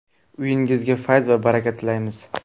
Uyingizga fayz va baraka tilaymiz.